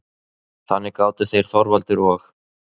Þannig gátu þeir Þorvaldur og